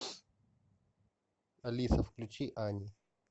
алиса включи ани